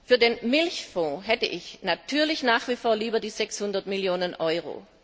Für den Milchfonds hätte ich natürlich nach wie vor lieber 600 Millionen Euro.